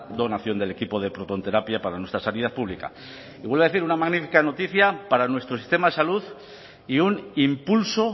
donación del equipo de protonterapia para nuestra sanidad pública y vuelvo a decir una magnífica noticia para nuestro sistema de salud y un impulso